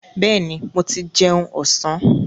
Bẹ́ẹ̀ni, mo ti jẹun ọ̀sán.